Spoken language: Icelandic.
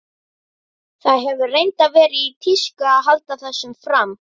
Það hefur reyndar verið í tísku að halda þessu fram.